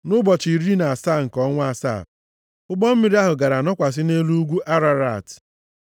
Nʼụbọchị iri na asaa nke ọnwa asaa, ụgbọ mmiri ahụ gara nọkwasị nʼelu ugwu Ararat.